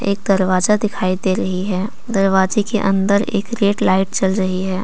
एक दरवाजा दिखाई दे रही है दरवाजे के अंदर एक रेड लाइट जल रही है।